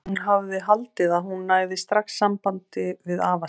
Hún hafði haldið að hún næði strax sambandi við afa sinn.